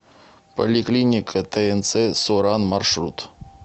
поликлиника тнц со ран маршрут